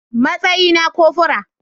Matsayi na cofora